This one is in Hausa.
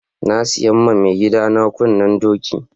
Na siya ma maigida na kunnen doki.